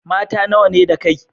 Mata nawa ne da kai?